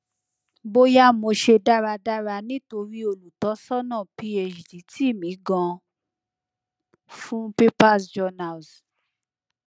boya mo se daradara nitori olutosana phd ti mi gan fun papersjournals pcs]